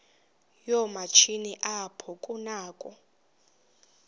yoomatshini apho kunakho